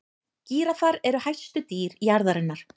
gíraffar eru hæstu dýr jarðarinnar